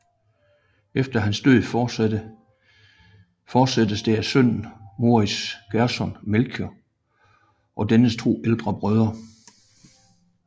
Efter hans død fortsattes det af sønnen Moritz Gerson Melchior og dennes to ældre brødre